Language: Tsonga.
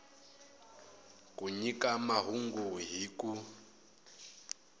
ku nyika mahungu hi ku